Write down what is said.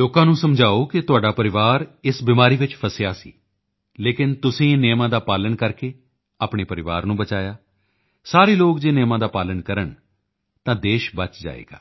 ਲੋਕਾਂ ਨੂੰ ਸਮਝਾਓ ਕਿ ਤੁਹਾਡਾ ਪਰਿਵਾਰ ਇਸ ਬਿਮਾਰੀ ਵਿੱਚ ਫਸਿਆ ਸੀ ਲੇਕਿਨ ਤੁਸੀਂ ਨਿਯਮਾਂ ਦਾ ਪਾਲਣ ਕਰਕੇ ਆਪਣੇ ਪਰਿਵਾਰ ਨੂੰ ਬਚਾਇਆ ਸਾਰੇ ਲੋਕ ਜੇ ਨਿਯਮਾਂ ਦਾ ਪਾਲਣ ਕਰਨ ਤਾਂ ਦੇਸ਼ ਬਚ ਜਾਵੇਗਾ